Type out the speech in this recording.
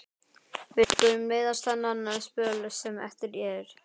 Við skulum leiðast þennan spöl sem eftir er.